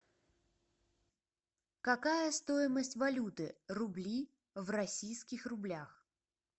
какая стоимость валюты рубли в российских рублях